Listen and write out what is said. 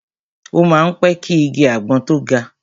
O má ń pẹ́ ki igi àgbọn tó ga.